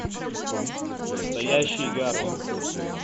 настоящий гарфилд